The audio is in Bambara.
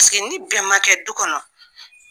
ni bɛn ma kɛ du kɔnɔ